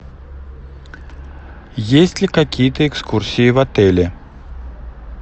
есть ли какие то экскурсии в отеле